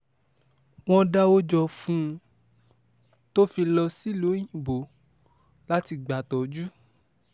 wọ́n dáwọ́ jọ fún un tó fi lọ sílùú òyìnbó láti gbàtọ́jú